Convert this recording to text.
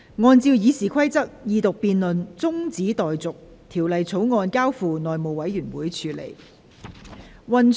按照《議事規則》，二讀辯論中止待續，《條例草案》交付內務委員會處理。